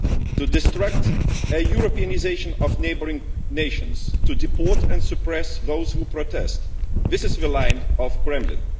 To destroy the Europeanisation of neighbouring nations, to deport and suppress those who protest this is the line of the Kremlin.